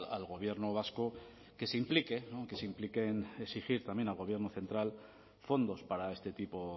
al gobierno vasco que se implique que se implique en exigir también al gobierno central fondos para este tipo